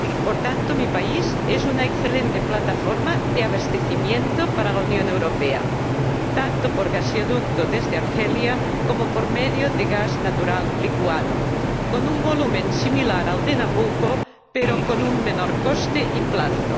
Por tanto, mi país es una excelente plataforma de abastecimiento para la Unión Europa. Tanto por gaseoducto desde Argelia, como por medio de gas natural licuado con un volumen similar al de Nabucco, pero con un menor coste y plazo.